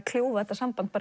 kljúfa þetta samband